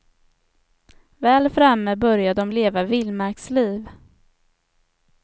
Väl framme börjar de leva vildmarksliv.